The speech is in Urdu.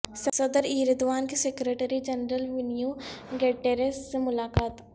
صدر ایردوان کی سیکرٹری جنرل ونیو گٹیرس سے ملاقات